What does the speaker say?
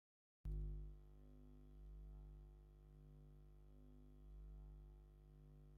ዘመናዊ ዩሬካ ዊርልዊንድ ቫክዩም ክሊነር ብሰማያውን ግራጭን ሕብሪ ዝሓዘ ይረአ ኣሎ። እቲ ናይ ሓመድ መትሓዚ ንጹር፣ መጽረዪ ድማ ብጎኒ ይርአ። ሕብሪ ናይቲ ሓመድ ዝሓዘ መትሓዚ እንታይ እዩ?